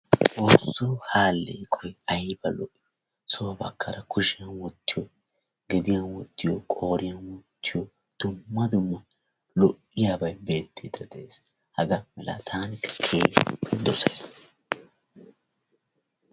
Xoossoo ha alleeqoyi ayiba lo"ii so baggaara kushiyan wottiyi gediyan wottiyo qooriyan wottiyo dumma dumma lo"iyabayi beettiiddi de"es. Hagaa malaa taani keehippe dosayis.